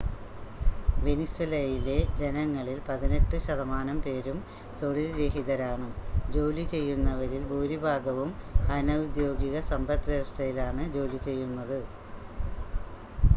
വെനിസ്വേലയിലെ ജനങ്ങളിൽ പതിനെട്ട് ശതമാനം പേരും തൊഴിൽ രഹിതരാണ് ജോലി ചെയ്യുന്നവരിൽ ഭൂരിഭാഗവും അനൗദ്യോഗിക സമ്പദ്‌വ്യവസ്ഥയിലാണ് ജോലി ചെയ്യുന്നത്